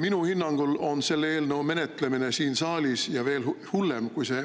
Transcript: Minu hinnangul on selle eelnõu menetlemine siin saalis – ja veel hullem, kui see